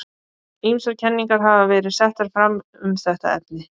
Ýmsar kenningar hafa verið settar fram um þetta efni.